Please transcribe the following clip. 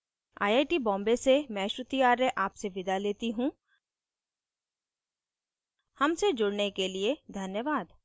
I I T Bombay से मैं श्रुति आर्य आपसे विदा लेती हूँ हमसे जुड़ने के लिए धन्यवाद